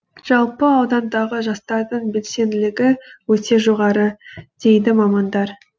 жалпы аудандағы жастардың белсенділігі өте жоғары дейді мамандар